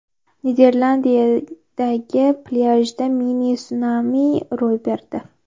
Niderlandiyadagi plyajda mini-sunami ro‘y berdi.